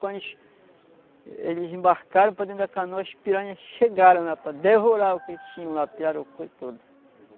Quando eles eles embarcaram para dentro da canoa, as piranhas chegaram lá para devorar o que eles tinham lá, pirarucu e tudo.